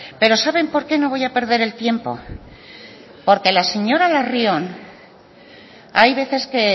pero saben por qué no voy a perder el tiempo porque la señora larrion hay veces que